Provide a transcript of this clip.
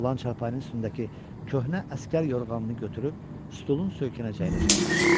Oğlan çarpayının üstündəki köhnə əsgər yorğanını götürüb stolun söykənəcəyinə saldı.